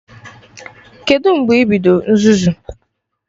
Kedụ mgbe ibido nzuzu?